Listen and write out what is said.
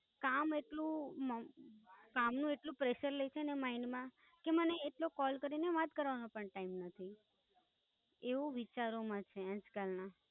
કામ એટલું. કામનું એટલું Pressure રે છે ને Mind માં કે મને એક Call કરીને વાત કરવાનો પણ Time નથી.